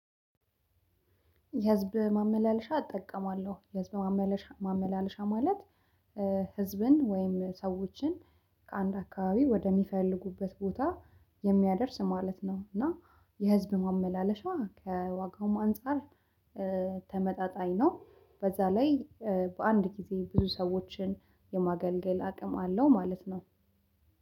የህዝብ ማመላለሻ እጠቀማለሁ። የህዝብ ማመላለሻ ማለት ህዝብን ወይም ሰዎችን ከአንድ አከባቢ ወደ ሚፈልጉበት ቦታ የሚያደርስ ማለት ነው እና የህዝብ ማመላለሻ ከዋጋው አንፃር ተመጣጣኝ ነው። በዛ ላይ በአንድ ጊዜ ብዙ ሰዎችን የማገልገል አቅም አለው ማለት ነው።